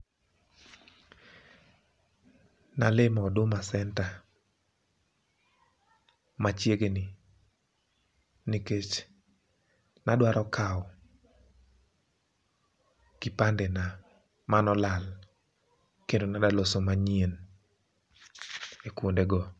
Nalimo huduma centre machiegni, nikech nadwaro kawo kipande na manolal kendo nadwaloso manyien e kuondego.